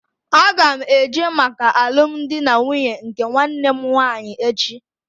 Aga m eje maka alụmdi na nwunye nke nwanne m nwaanyị echi